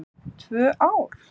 Tvö ár?